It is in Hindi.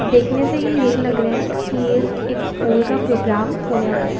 देखने से ये यही लग रहा है कि ये एक स्कूल का प्रोग्राम होने वाला है।